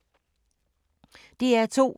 DR2